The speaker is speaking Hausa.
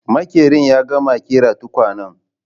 Maƙerin ya gama ƙera tukwanen?